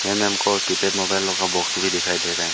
यहां मे हमको किपेड मोबाइल लोग का बॉस भी दिखाई दे रहा --